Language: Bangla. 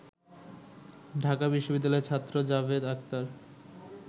ঢাকা বিশ্ববিদ্যালয়ের ছাত্র জাভেদ আখতার